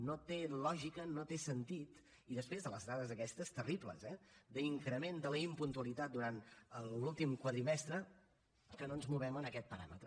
no té lògica no té sentit i després de les dades aquestes terribles eh d’increment de la impuntualitat durant l’últim quadrimestre que no ens movem en aquest paràmetre